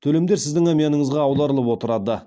төлемдер сіздің әмияныңызға аударылып отырады